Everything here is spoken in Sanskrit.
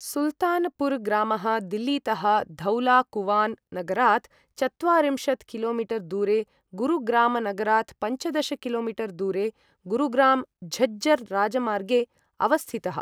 सुल्तानपुर् ग्रामः दिल्लीतः धौला कुवान् नगरात् चत्वारिंशत् कि.मी.दूरे गुरुग्रामनगरात् पञ्चदश कि.मी.दूरे गुरुग्राम झज्जर राजमार्गे अवस्थितः।